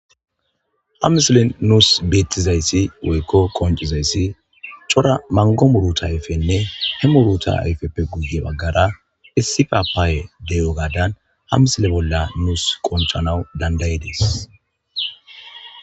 Hamisile nuus beettizayssi woykko qoncizayssi cora mango muruta ayfenne he muruta ayfeppe guye baggara issifa paaye deyo gaadan hamisile bolla nuus qonchanawu dandayides.